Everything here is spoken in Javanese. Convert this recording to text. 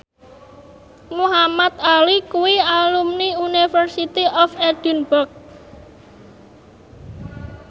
Muhamad Ali kuwi alumni University of Edinburgh